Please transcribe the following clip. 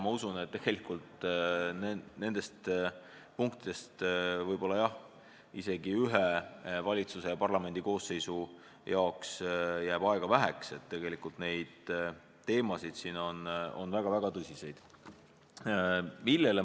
Ma usun, et nende punktide jaoks võib isegi ühel valitsusel ja parlamendikoosseisul aega väheks jääda, need teemad on väga-väga tõsised.